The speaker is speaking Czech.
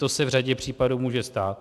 To se v řadě případů může stát.